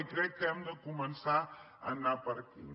i crec que hem de començar a anar per aquí